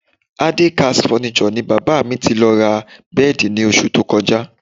Adekaz Furniture ni bàbá mi ti lọ ra bẹ́ẹ̀dì ní oṣù tó kọjá